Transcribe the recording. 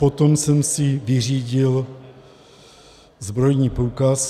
Potom jsem si vyřídil zbrojní průkaz.